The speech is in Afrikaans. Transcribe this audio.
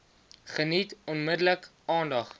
geniet onmiddellik aandag